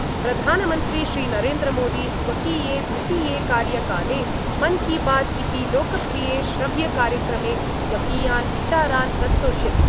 प्रधानमंत्री श्रीनरेन्द्रमोदी स्वकीये द्वितीये कार्यकाले मन् की बात् इति लोकप्रिये श्रव्यकार्यक्रमे स्वकीयान् विचारान् प्रस्तोष्यति।